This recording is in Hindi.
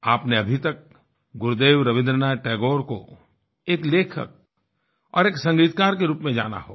आपने अभी तक गुरुदेव रबीन्द्रनाथ टैगोर को एक लेखक और एक संगीतकार के रूप में जाना होगा